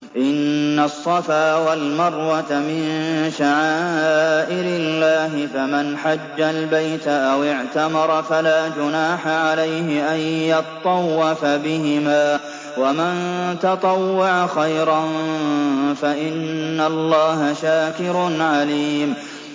۞ إِنَّ الصَّفَا وَالْمَرْوَةَ مِن شَعَائِرِ اللَّهِ ۖ فَمَنْ حَجَّ الْبَيْتَ أَوِ اعْتَمَرَ فَلَا جُنَاحَ عَلَيْهِ أَن يَطَّوَّفَ بِهِمَا ۚ وَمَن تَطَوَّعَ خَيْرًا فَإِنَّ اللَّهَ شَاكِرٌ عَلِيمٌ